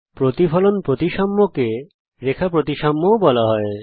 প্রতিফলন প্রতিসাম্যকে রেখা প্রতিসাম্য ও বলা হয়